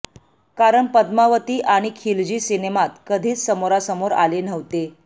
कारण पद्मावती आणि खिलजी सिनेमात कधीच समोरासमोर आले नव्हते